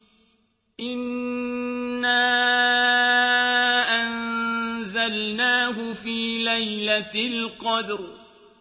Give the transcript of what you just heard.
إِنَّا أَنزَلْنَاهُ فِي لَيْلَةِ الْقَدْرِ